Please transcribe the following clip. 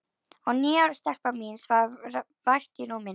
Og níu ára stelpan mín svaf vært í rúminu.